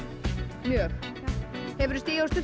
hefurðu stigið á